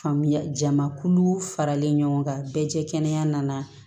Faamuya jamakulu faralen ɲɔgɔn kan bɛɛ cɛ kɛnɛya nana